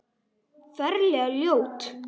Ferlega ljót.